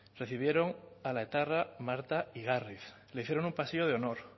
recibieron a la etarra marta igarriz le hicieron un pasillo de honor